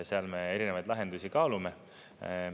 Seal me erinevaid lahendusi kaalume.